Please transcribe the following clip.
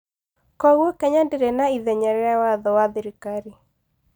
Kwoguo Kenya ndĩrĩ na ithenya rĩa watho wa gĩthirikari.